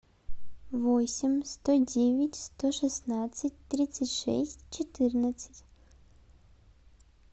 восемь сто девять сто шестнадцать тридцать шесть четырнадцать